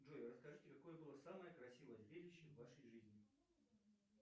джой расскажите какое было самое красивое зрелище в вашей жизни